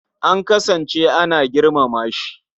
An kasance ana girmama shi.